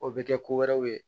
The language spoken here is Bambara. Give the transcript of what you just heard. O bɛ kɛ ko wɛrɛw ye